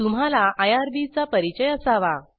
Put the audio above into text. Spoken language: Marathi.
तुम्हाला आयआरबी चा परिचय असावा